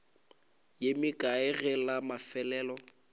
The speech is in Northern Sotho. ye mekae ge la mafelelo